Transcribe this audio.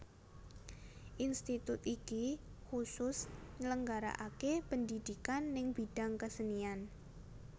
Institut iki kusus nyelenggaraake pendhidhikan neng bidang kesenian